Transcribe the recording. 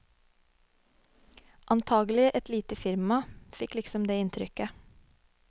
Antakelig et lite firma, fikk liksom det inntrykket.